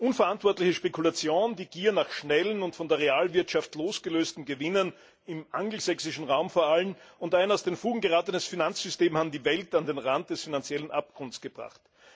Unverantwortliche Spekulation, die Gier nach schnellen und von der Realwirtschaft losgelösten Gewinnen, vor allem im angelsächsischen Raum, und ein aus den Fugen geratenes Finanzsystem haben die Welt an den Rand des finanziellen Abgrunds gebracht.